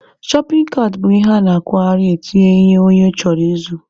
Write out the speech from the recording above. Shọpin kaat bụ ihe a na-akwagharị etinye ihe onye chọrọ ịzụ.